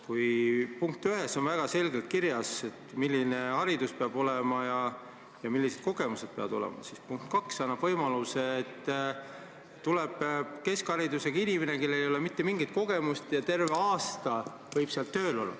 Kui punktis 1 on väga selgelt kirjas, milline haridus ja millised kogemused peavad olema, siis punkt 2 annab võimaluse, et tuleb keskharidusega inimene, kellel ei ole mitte mingit kogemust, ja võib terve aasta tööl olla.